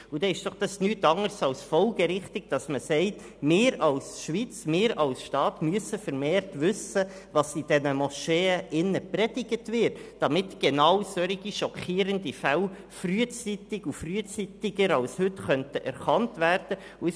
Dann ist es nichts anderes als folgerichtig, wenn man sagt, dass wir als Schweiz und als Staat vermehrt wissen müssen, was in diesen Moscheen gepredigt wird, damit genau solche schockierenden Fälle frühzeitig und frühzeitiger als heute erkannt werden können.